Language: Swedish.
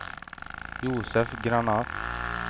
Josef Granath